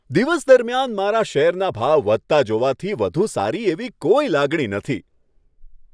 દિવસ દરમિયાન મારા શેરના ભાવ વધતા જોવાથી વધુ સારી એવી કોઈ લાગણી નથી.